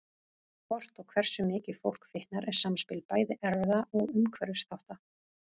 Hvort og hversu mikið fólk fitnar er samspil bæði erfða og umhverfisþátta.